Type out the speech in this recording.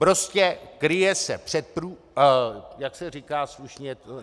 Prostě kryje se před prů... jak se říká slušně?